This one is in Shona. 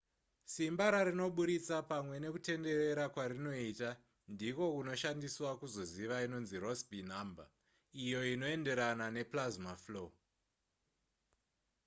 simba rarinobudisa pamwe nekutenderera kwarinoita ndiko kunoshandiswa kuzoziva inonzi rossby number iyo inoenderana neplasma flow